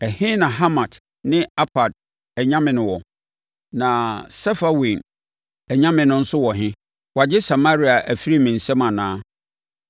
Ɛhe na Hamat ne Arpad anyame no wɔ? Na Sefarwaim anyame no nso wɔ he? Wɔagye Samaria afiri me nsam anaa?